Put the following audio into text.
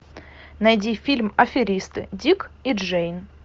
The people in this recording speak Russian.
найди фильм аферисты дик и джейн